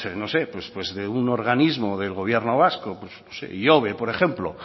pues no sé de un organismo del gobierno vasco pues ihobe por ejemplo